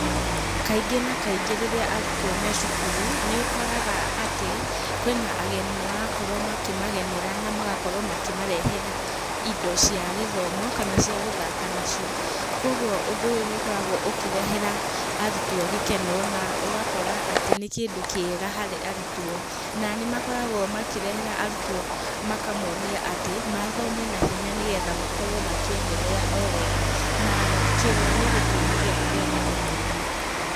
Kaingĩ na kaingĩ rĩrĩa arutwo me cukuru, nĩ ũkoraga atĩ, kwĩna ageni marakorwo makĩmagenera na magakorwo makĩmarehera indo cia gĩthomo kana cia gũthaka nacio, kuoguo ũndũ ũyũ nĩ ũkoragwo ũkĩrehera arutwo gĩkeno na ũgakora atĩ nĩ kĩndũ kĩega harĩ arutwo, na nĩ makoragwo makĩrehera arutwo makamonia atĩ mathome na hinya, nĩgetha makorwo makĩenderea o wega, nakio nĩ gĩtũmi gĩa kwenda ũndũ ũyũ.